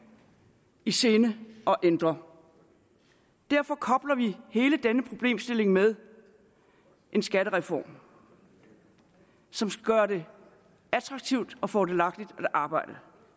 i sinde at ændre og derfor kobler vi hele denne problemstilling med en skattereform som skal gøre det attraktivt og fordelagtigt at arbejde